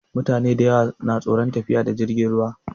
Mutane dayawa na tsoron tafiya da jirgin ruwa